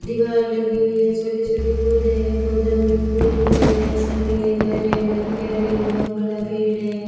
दीवार लगी हुई है छोटे छोटे पौधे हैं पौधे में फूल लगे हुए है सामने घर है घर के आगे एक बहुत बड़ा पेड़ है।